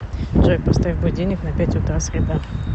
джой поставь будильник на пять утра среда